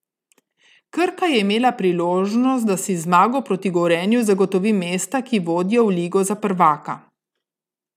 Krka je imela priložnost, da si z zmago proti Gorenju zagotovi mesta, ki vodijo v ligo za prvaka.